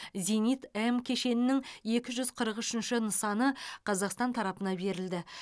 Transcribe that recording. зенит м кешенінің екі жүз қырық үшінші нысаны қазақстан тарапына берілді